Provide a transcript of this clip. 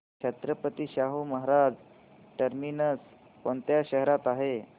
Chhatrapati Shahu Maharaj terminus कोणत्या शहरात आहे